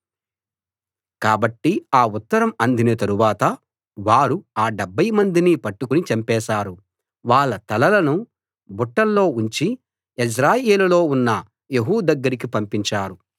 కాబట్టి ఆ ఉత్తరం అందిన తరువాత వారు ఆ డెబ్భైమందినీ పట్టుకుని చంపేశారు వాళ్ళ తలలను బుట్టల్లో ఉంచి యెజ్రెయేలులో ఉన్న యెహూ దగ్గరికి పంపించారు